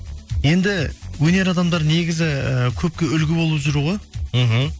енді өнер адамдар негізі ыыы көпке үлгі болып жүру ғой мхм